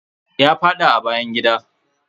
Ya faɗa a bayan gida.